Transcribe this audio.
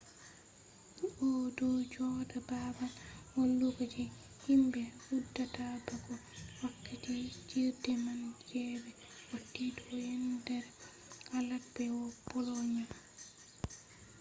o do joda babal walugo je himbe be hudata bako wakkati fijirde man je be wati do yendere alaat be bolonia